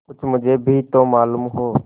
कुछ मुझे भी तो मालूम हो